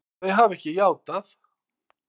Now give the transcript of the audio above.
Þau hafa ekki játað.